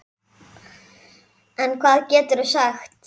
En hvað geturðu sagt?